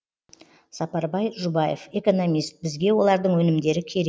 сапарбай жұбаев экономист бізге олардың өнімдері керек